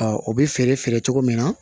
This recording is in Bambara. o bɛ feere feere cogo min na